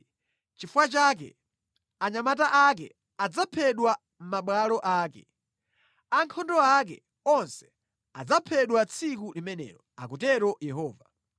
Nʼchifukwa chake, anyamata ake adzaphedwa mʼmabwalo ake; ankhondo ake onse adzaphedwa tsiku limenelo,” akutero Yehova.